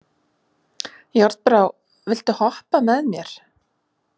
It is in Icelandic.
Járnbrá, viltu hoppa með mér?